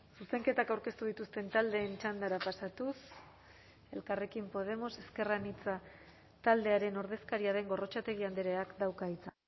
zuzenketak aurkeztu dituzten taldeen txandara pasatuz elkarrekin podemos ezker anitza taldearen ordezkaria den gorrotxategi andreak dauka hitza